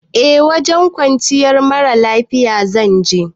Eh wajen kwanciyar mara lafiya zan je